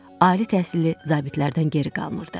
Ali təhsilli zabitlərdən geri qalmırdı.